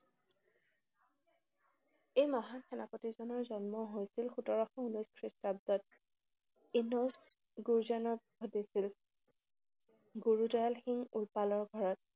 এই মহান সেনাপতিজনৰ জন্ম হৈছিল সোতৰশ ঊনৈশ খ্ৰীষ্টাব্দত। ঘটিছিল। গুৰু জল সিং উৰপালৰ ঘৰত